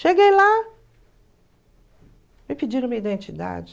Cheguei lá, me pediram minha identidade.